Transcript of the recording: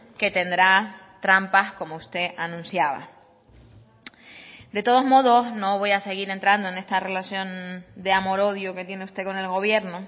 que tendrá trampas como usted anunciaba de todos modos no voy a seguir entrando en esta relación de amor odio que tiene usted con el gobierno